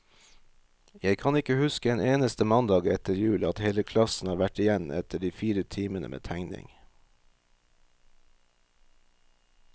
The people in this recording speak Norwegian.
Jeg kan ikke huske en eneste mandag etter jul, at hele klassen har vært igjen etter de fire timene med tegning.